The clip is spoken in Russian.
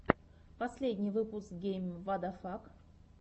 последний выпуск гейм вадафак